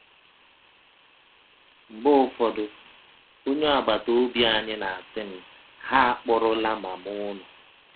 Mgbe ụfọdụ, ọnye agbata ọbi anyị na - asị m: “ Ha akpụrụla mama ụnụ. ”